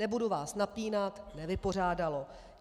Nebudu vás napínat - nevypořádalo.